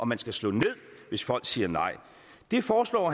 man skal slå ned hvis folk siger nej det foreslår